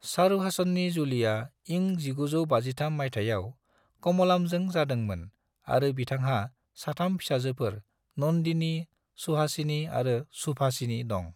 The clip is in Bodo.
चारुहासननि जुलिया इं 1953 माइथायाव कम'लामजों जादोंमोन आरो बिथांहा साथाम फिसाजोफोर नन्दिनी, सुहासिनी आरो सुभासिनी दं।